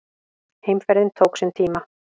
Heimferðin tók sinn tíma.